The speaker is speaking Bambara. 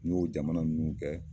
N ɲ'o jamana minnu kɛ